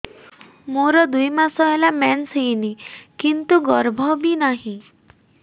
ମୋର ଦୁଇ ମାସ ହେଲା ମେନ୍ସ ହେଇନି କିନ୍ତୁ ଗର୍ଭ ବି ନାହିଁ